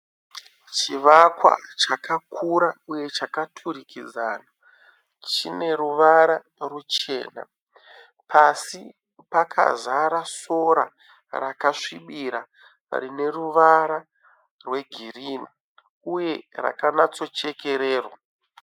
Chivakwa chakakura uye chakaturikidzana. Chineruvara ruchena. Pasi pakazara sora rakanyasvibira rineruvara rwegirinhi uye rakanyatsochekererwa